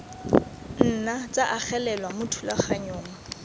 nna tsa agelelwa mo thulaganyong